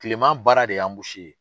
Kilema baara de ye ye .